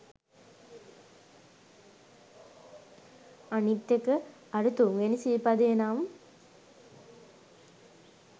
අනිත් එක අර තුන්වෙනි සිල් පදය නම්